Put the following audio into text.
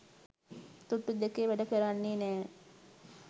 තුට්ටු දෙකේ වැඩ කරන්නෙ නෑ.